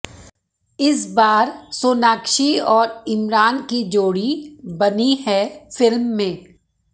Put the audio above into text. इस बार सोनाक्षी और इमरान की जोड़ी बनी है फिल्म में